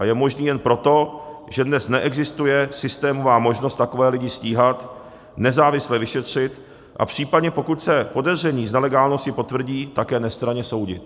A je možný jen proto, že dnes neexistuje systémová možnost takové lidi stíhat, nezávisle vyšetřit a případně, pokud se podezření z nelegálnosti potvrdí, také nestranně soudit.